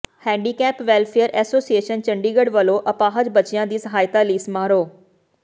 handicap welfare association Chandigarh ਵੱਲੋਂ ਅਪਾਹਜ ਬੱਚਿਆਂ ਦੀ ਸਹਾਇਤਾ ਲਈ ਸਮਾਰੋਹ